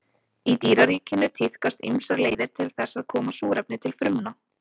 Í dýraríkinu tíðkast ýmsar leiðir til þess að koma súrefni til frumna.